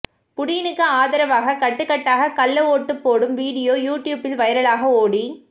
புடினுக்கு ஆதரவாக கட்டுகட்டாக கள்ள ஓட்டு போடும் வீடியோ யூ ட்யூப்பில் வைரலாக ஓடிக்